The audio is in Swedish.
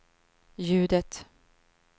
ljudet